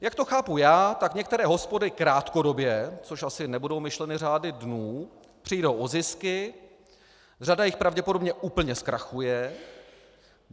Jak to chápu já, tak některé hospody krátkodobě, což asi nebudou myšleny řády dnů, přijdou o zisky, řada jich pravděpodobně úplně zkrachuje.